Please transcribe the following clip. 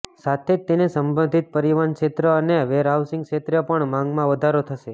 સાથે જ તેને સંબંધિત પરિવહન ક્ષેત્ર અને વેરહાઉંસિગ ક્ષેત્રે પણ માંગમાં વધારો થશે